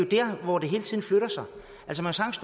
der hvor det hele tiden flytter sig